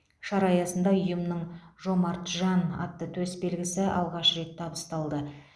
шара аясында ұйымның жомарт жан атты төсбелгісі алғаш рет табысталды